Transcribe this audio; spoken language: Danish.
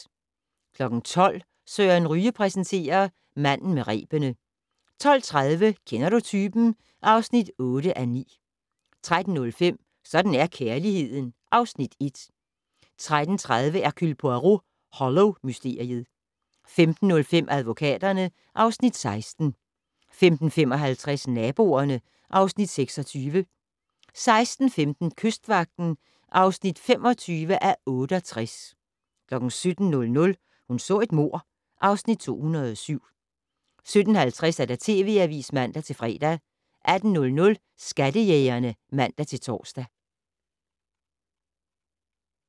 12:00: Søren Ryge præsenterer: Manden med rebene 12:30: Kender du typen? (8:9) 13:05: Sådan er kærligheden (Afs. 1) 13:30: Hercule Poirot: Hollow-mysteriet 15:05: Advokaterne (Afs. 16) 15:55: Naboerne (Afs. 26) 16:15: Kystvagten (25:68) 17:00: Hun så et mord (Afs. 207) 17:50: TV Avisen (man-fre) 18:00: Skattejægerne (man-tor)